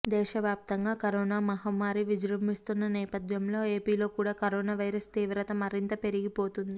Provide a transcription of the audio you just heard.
దేశవ్యాప్తంగా కరోనా మహమ్మారి విజృంభిస్తున్న నేపథ్యంలో ఏపీ లో కూడా కరోనా వైరస్ తీవ్రత మరింత పెరిగిపోతుంది